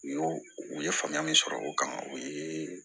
U y'o u ye faamuya min sɔrɔ o kan o ye